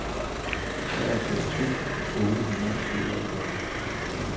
treoghalvtreds tusind otte hundrede og syvoghalvfems